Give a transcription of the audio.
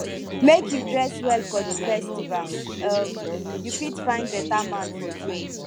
make you dress well for di festival um you fit find beta man for there